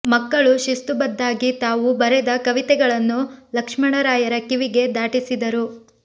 ಮಕ್ಕಳು ಶಿಸ್ತು ಬದ್ದಾಗಿ ತಾವು ಬರೆದ ಕವಿತೆಗಳನ್ನು ಲಕ್ಷ್ಮಣರಾಯರ ಕಿವಿಗೆ ದಾಟಿಸಿದರು